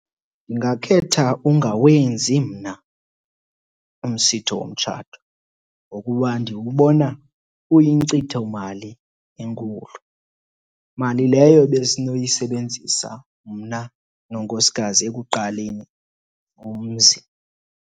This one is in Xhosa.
Ndingakhetha ungawenzi mna umsitho womtshato ngokuba ndiwubona uyinkcithomali enkulu, mali leyo besinoyisebenzisa mna nonkosikazi ekuqaleni umzi.